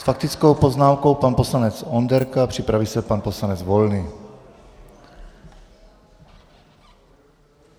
S faktickou poznámkou pan poslanec Onderka, připraví se pan poslanec Volný.